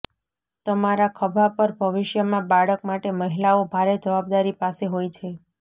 તમારા ખભા પર ભવિષ્યમાં બાળક માટે મહિલાઓ ભારે જવાબદારી પાસે હોય છે